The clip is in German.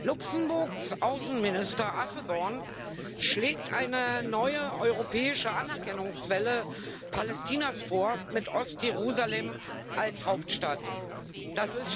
Luxemburgs Außenminister Asselborn schlägt eine neue europäische Anerkennungswelle Palästinas mit Ostjerusalem als Hauptstadt vor.